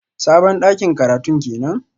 Sabon dakin karatun kenan?